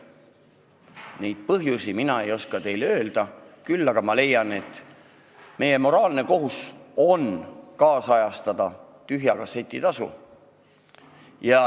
Neid põhjusi ei oska mina teile öelda, küll aga leian, et meie moraalne kohus on ajakohastada tühja kasseti tasu.